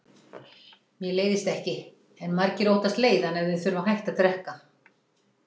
Mér leiðist ekki, en margir óttast leiðann ef þeir þurfa að hætta að drekka.